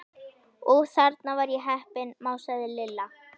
Úff, þarna var ég heppin másaði Lilla.